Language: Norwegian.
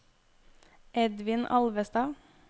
Edvin Alvestad